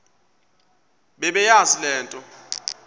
bebeyazi le nto